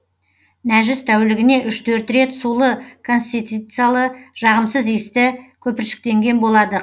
нәжіс тәулігіне үш төрт рет сулы консистенциялы жағымсыз иісті көпіршіктенген болады